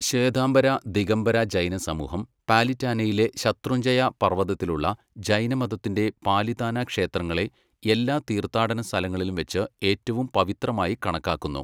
ശ്വേതാംബര, ദിഗംബര ജൈന സമൂഹം പാലിറ്റാനയിലെ ശത്രുഞ്ജയ പർവതത്തിലുള്ള ജൈനമതത്തിന്റെ പാലിതാന ക്ഷേത്രങ്ങളെ എല്ലാ തീർത്ഥാടന സ്ഥലങ്ങളിലും വെച്ച് ഏറ്റവും പവിത്രമായി കണക്കാക്കുന്നു.